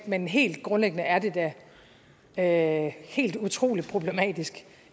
men helt grundlæggende er det da helt utrolig problematisk